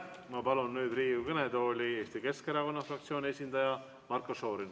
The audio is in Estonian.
Ma palun Riigikogu kõnetooli Eesti Keskerakonna fraktsiooni esindaja Marko Šorini.